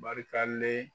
Barikalen